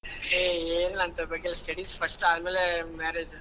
ಹೇ ಏನಿಲ್ಲಾ ಅಂತವ್ ಬಗ್ಗೇ ಎಲ್ಲ studies first ಆಮೇಲೇ marriage .